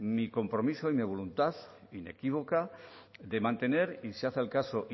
mi compromiso y mi voluntad inequívoca de mantener y si hace el caso